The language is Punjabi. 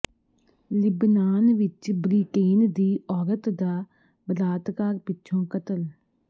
ਲਿਬਨਾਨ ਵਿੱਚ ਬ੍ਰਿਟੇਨ ਦੀ ਔਰਤ ਦਾ ਬਲਾਤਕਾਰ ਪਿੱਛੋਂ ਕਤਲ